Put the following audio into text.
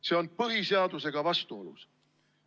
See on põhiseadusega vastuolus.